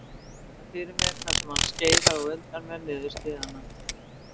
Ég virði hann fyrir mér þar sem hann skeiðar á undan mér niður stigana.